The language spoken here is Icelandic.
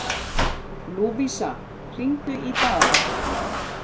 Lúvísa, hringdu í Daða.